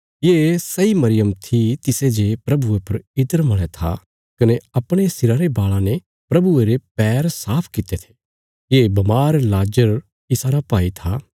ये सैई मरियम थी तिसे जे प्रभुये पर इत्र मल़या था कने अपणे सिरा रे बाल़ां ने प्रभुये रे पैर साफ कित्ते थे ये बमार लाजर इसारा भाई था